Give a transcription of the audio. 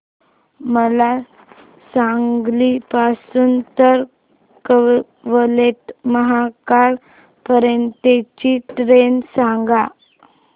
मला सांगली पासून तर कवठेमहांकाळ पर्यंत ची ट्रेन सांगा